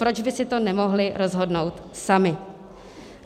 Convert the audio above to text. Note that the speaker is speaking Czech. Proč by si to nemohli rozhodnout sami?